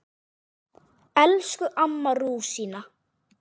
Elsku amma rúsína.